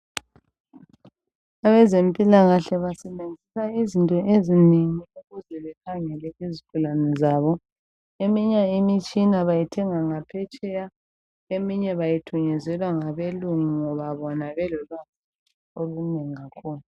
Abazempilakahle basebenzisa izinto ezinengi ukuze bakhangele izigulane zabo. Eminye imitshina bayithenga ngaphetsheya, eminye bayithunyezelwa ngabelungu ngoba bona belolwazi olunengi kakhulu.